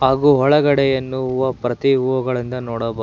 ಹಾಗೂ ಒಳಗಡೆಯನ್ನು ಹೂವ ಪ್ರತಿ ಹೂವಗಳಿಂದ ನೋಡಬಹು--